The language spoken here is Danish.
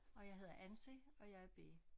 Og jeg hedder Anse og jeg er B